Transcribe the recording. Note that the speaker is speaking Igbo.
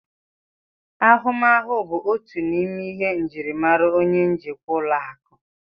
Ahụmahụ bụ otu n'ime njirimara onye njikwa ụlọ akụ